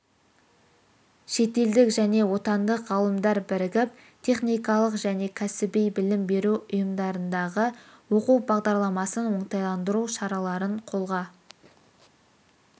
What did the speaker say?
шетелдік және отандық ғалымдар бірігіп техникалық және кәсіби білім беру ұйымдарындағы оқу бағдарламасын оңтайландыру шараларын қолға